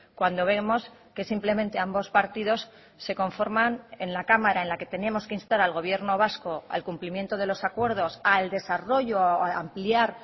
cuando vemos que simplemente ambos partidos se conforman en la cámara en la que tenemos que instar al gobierno vasco al cumplimiento de los acuerdos al desarrollo a ampliar